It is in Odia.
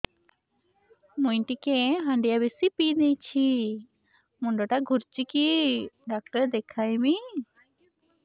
ମୁଇ ଟିକେ ହାଣ୍ଡିଆ ବେଶି ପିଇ ଦେଇଛି ମୁଣ୍ଡ ଟା ଘୁରୁଚି କି ଡାକ୍ତର ଦେଖେଇମି